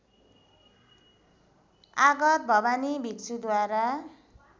आगत भवानी भिक्षुद्वारा